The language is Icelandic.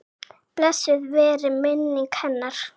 Blessuð veri minning hennar.